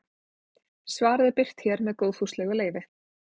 Svarið er birt hér með góðfúslegu leyfi.